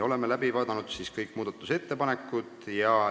Oleme läbi vaadanud kõik muudatusettepanekud.